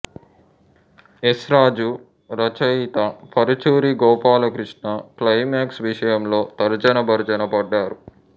yes Raju రచయిత Paruchuri Gopalakrishna climax విషయంలో తర్జనభర్జన పడ్డారు